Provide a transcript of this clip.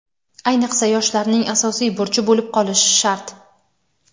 ayniqsa yoshlarning asosiy burchi bo‘lib qolishi shart.